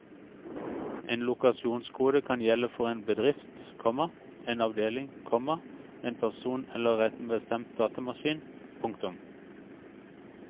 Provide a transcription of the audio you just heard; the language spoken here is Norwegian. En lokasjonskode kan gjelde for en bedrift, komma en avdeling, komma en person eller en bestemt datamaskin. punktum